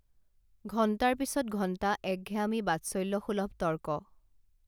ঘন্টাৰ পিছত ঘন্টা একঘেয়ামী বাৎসল্য সুলভ তৰ্ক